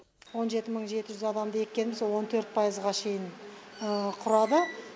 он жеті мың жеті жүз адамды еккенбіз он төрт пайызға шейін құрады